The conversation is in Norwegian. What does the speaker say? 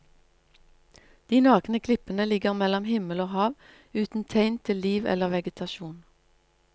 De nakne klippene ligger mellom himmel og hav, uten tegn til liv eller vegetasjon.